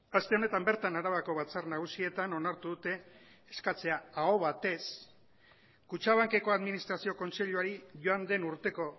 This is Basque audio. aste honetan bertan arabako batzar nagusietan onartu dute eskatzea aho batez kutxabankeko administrazio kontseiluari joan den urteko